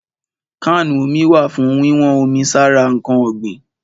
Kánù omi wà fún wíwọ́n omi sára ǹkan ọ̀gbìn.